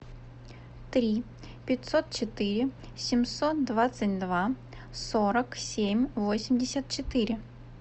три пятьсот четыре семьсот двадцать два сорок семь восемьдесят четыре